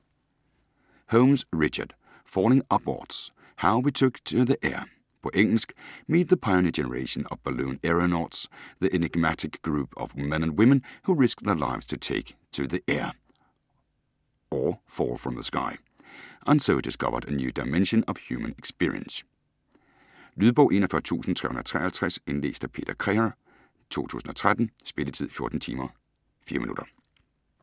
Holmes, Richard: Falling upwards : how we took to the air På engelsk. Meet the pioneer generation of balloon aeronauts, the enigmatic group of men and women who risked their lives to take to the air (or fall from the sky) and so discovered a new dimension of human experience. Lydbog 41353 Indlæst af Peter Crerar, 2013. Spilletid: 14 timer, 4 minutter.